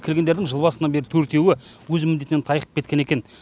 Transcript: келгендердің жыл басынан бері төртеуі өз міндетінен тайқып кеткен екен